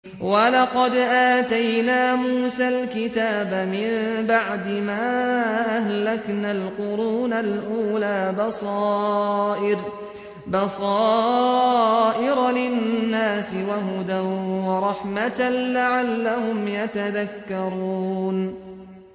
وَلَقَدْ آتَيْنَا مُوسَى الْكِتَابَ مِن بَعْدِ مَا أَهْلَكْنَا الْقُرُونَ الْأُولَىٰ بَصَائِرَ لِلنَّاسِ وَهُدًى وَرَحْمَةً لَّعَلَّهُمْ يَتَذَكَّرُونَ